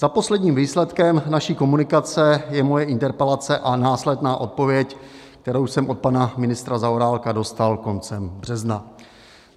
Za posledním výsledkem naší komunikace je moje interpelace a následná odpověď, kterou jsem od pana ministra Zaorálka dostal koncem března.